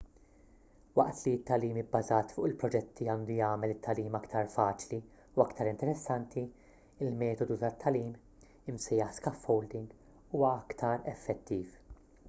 waqt li t-tagħlim ibbażat fuq il-proġetti għandu jagħmel it-tagħlim aktar faċli u aktar interessanti il-metodu tat-tagħlim imsejjaħ scaffolding huwa aktar effettiv